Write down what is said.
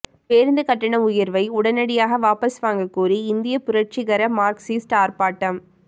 பேருந்து கட்டண உயர்வை உடனடியாக வாபஸ் வாங்க கோரி இந்திய புரட்சிகர மார்க்சிஸ்ட் ஆர்ப்பாட்டம்